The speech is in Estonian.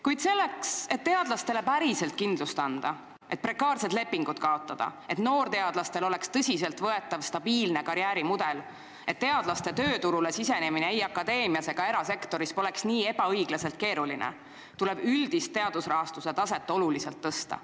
Kuid selleks, et teadlastele päriselt kindlust anda, et prekaarsed lepingud kaotada, et noorteadlastel oleks tõsiselt võetav stabiilne karjäärimudel ning et teadlaste tööturule sisenemine ei akadeemias ega erasektoris poleks nii ebaõiglaselt keeruline, tuleb üldise teadusrahastuse taset oluliselt tõsta.